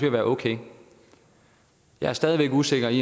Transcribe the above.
at være okay jeg er stadig væk usikker i